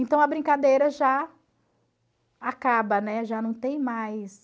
Então, a brincadeira já acaba, né, já não tem mais.